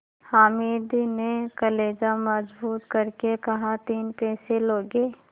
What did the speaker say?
हामिद ने कलेजा मजबूत करके कहातीन पैसे लोगे